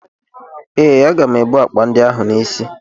Ee, aga m ebu akpa ndị ahụ n'isi m.